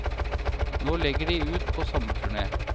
Nå legger de ut på sommerturné.